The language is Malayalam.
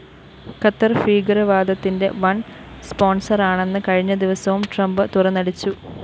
ഖത്തര്‍ ഭീകരവാദത്തിന്റെ വന്‍ സ്‌പോണ്‍സറാണെന്ന് കഴിഞ്ഞ ദിവസവും ട്രംപ്‌ തുന്നടിച്ചു